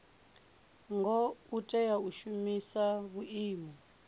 ngo tea u shumisa vhuimo